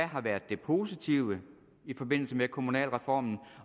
har været det positive i forbindelse med kommunalreformen